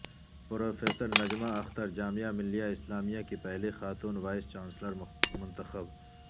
professor Najma Akhtar Jamia Millia Islamia کی پہلی خاتون وائس چانسلر منتخب